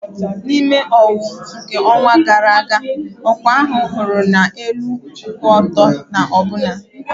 Na ime owuwu nke ọnwa gara aga, ọkwa ahu hụru na elu kwụ ọtọ na ọbụna.